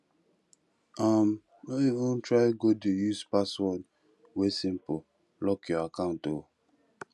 um no even try go dey use password wey simple lock your account o